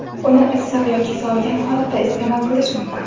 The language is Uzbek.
Uni issiq yoki sovigan holatda iste’mol qilish mumkin.